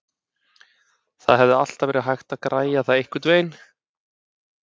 Það hefði alltaf verið hægt að græja það einhvernveginn.